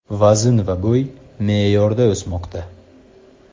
Vazn va bo‘y me’yorda o‘smoqda.